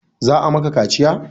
Za a maka kaciya?